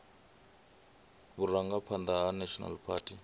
vhurangaphanḓa ha national party he